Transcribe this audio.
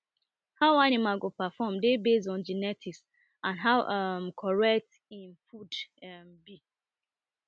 how animal go perform dey based on genetics and how um correct im food um be